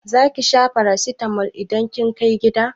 Zaki sha farasitamol idan kin kai gida?